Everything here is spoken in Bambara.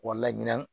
Wa laɲini